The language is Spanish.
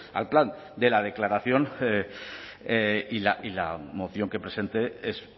al plan de la declaración y la moción que presenté es